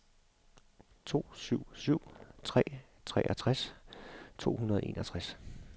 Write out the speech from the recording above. to syv syv tre treogtres to hundrede og enogtres